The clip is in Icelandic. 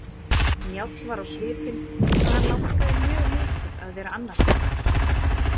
Njáll var á svipinn eins og hann langaði mjög mikið að vera annarstaðar.